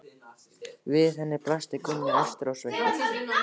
Við henni blasti Gunni, æstur og sveittur.